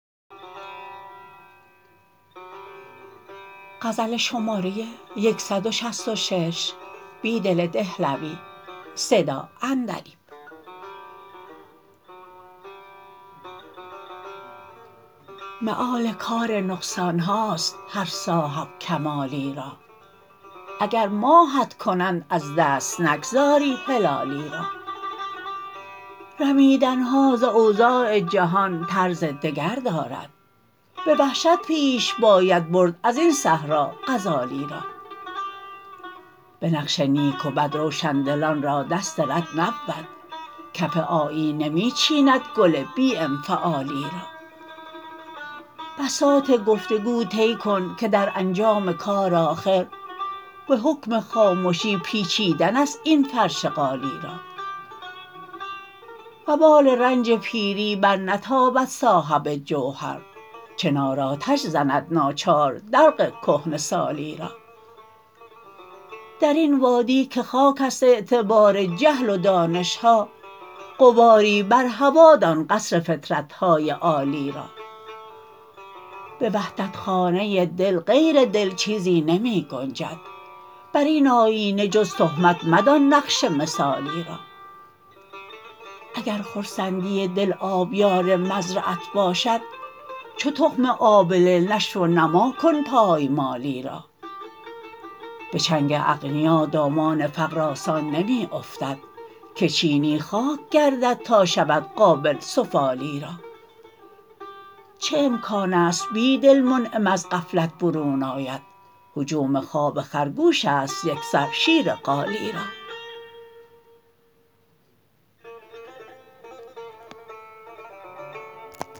مآل کار نقصانهاست هر صاحب کمالی را اگر ماهت کنند از دست نگذاری هلالی را رمیدنها ز اوضاع جهان طرز دگر دارد به وحشت پیش باید برد ازین صحرا غزالی را به بقش نیک وبد روشندلان رادست رد نبود کف آیینه می چیندگل بی انفعالی را بساط گفتگو طی کن که در انجام کار آخر به حکم خامشی پیچیدن است این فرش قالی را وبال رنج پیری برنتابد صاحب جوهر چنار آتش زند ناچار دلق کهنه سالی را درین وادی که خاک است اعتبار جهل و دانشها غباری بر هوادان قصر فطرتهای عالی را به وحدتخانه دل غیر دل چیزی نمی گنجد براین آیینه جز تهمت مدان نقش مثالی را اگر خرسندی دل آبیار مزرعت باشد چوتخم آبله نشو ونماکن پایمالی را به چنگ اغنیا دامان فقر آسان نمی افتد که چینی خاک گردد تا شود قابل سفالی را چه امکان است بیدل منعم از غفلت برون آید هجوم خواب خرگوش است یکسر شیر قالی را